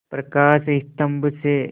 प्रकाश स्तंभ से